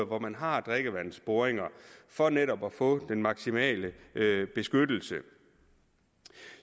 hvor man har drikkevandsboringer for netop at få den maksimale beskyttelse